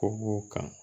Ko b'o kan